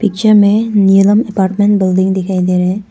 Picture में Neelam apartment building दिखाइ दे रहे हैं।